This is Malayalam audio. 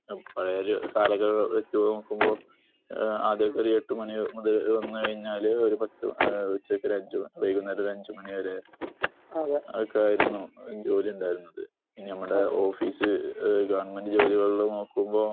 പഴയെ ഒരു കാലങ്ങളെ വച്ചു നോക്കുമ്പോ ആദ്യമൊക്കെ ഒരു എട്ട് മണി മുതൽ വന്നു കഴിഞ്ഞാല് ഒരു ഉച്ചയ്ക്ക് വൈകുന്നേരം ഒരു അഞ്ച് മണി വരെ ഒക്കെ ആയിരുന്നു ജോലി ഉണ്ടായിരുന്നത്. പിന്നെ നമ്മുടെ ഓഫീസ് ഗവൺമെന്റ് ജോലികള് നോകുമ്പോ